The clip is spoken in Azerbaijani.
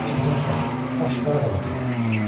Hər kimsənsə, başıxarab adamsan.